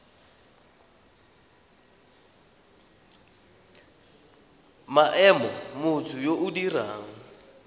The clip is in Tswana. maemo motho yo o dirang